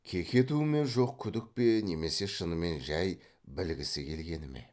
кекету ме жоқ күдік пе немесе шынымен жай білгісі келгені ме